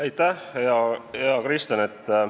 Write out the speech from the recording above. Aitäh, hea Kristen!